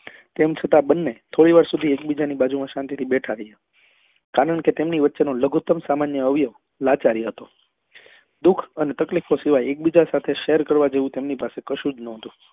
તેમ છતાં બંને થોડી વાર સુધી એક બીજા ની બાજુ માં શાંતિ થી બેઠા રહ્યા કારણ કે તેમની વચ્ચે નો લઘુત્તમ સામાન્ય અવયવ લાચાર હતો દુખ અને તકલીફો સિવાય એક બીજા સાથે shear કરવા જેવું તેમની પાસે કશું જ નતું